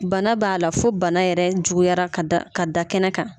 Bana b'a la fo bana yɛrɛ juguyara ka da ka da kɛnɛ kan